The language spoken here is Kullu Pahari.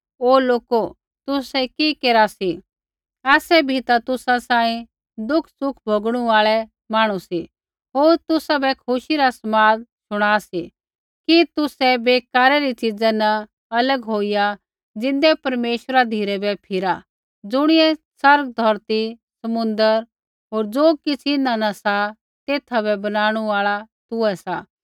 हे लोको तुसै कि केरा सी आसै बी ता तुसा सांही दुखसुख भोगणू आल़ै मांहणु सी होर तुसाबै खुशी रा समाद शुणा सी कि तुसै बेकारै री च़िज़ा न अलग होईया ज़िन्दै परमेश्वरा धिराबै फिरा ज़ुणियै स्वर्ग धौरती समुन्द्र होर ज़ो किछ़ इन्हां न सा तेथा बै बनाणु आल़ा तूहै सा